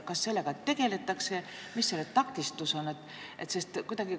Kas sellega tegeldakse, mis on takistused?